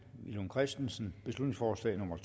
villum christensen beslutningsforslag nummer